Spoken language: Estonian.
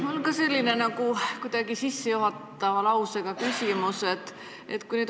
Mul on ka selline sissejuhatava lausega küsimus.